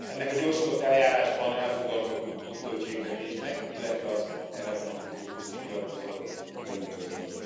Ezt a gyorsított eljárásban elfogadható pótköltségvetést, illetve az erre vonatkozó közös nyilatkozatot külön üdvözlöm.